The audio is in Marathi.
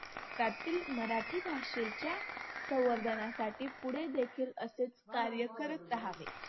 मराठी भाषेच्या संवर्धनासाठी पुढे देखील असेच कार्य करत रहावे.